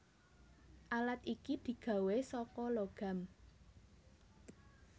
Alat iki digawé saka logam